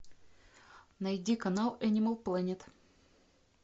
найди канал энимал плэнет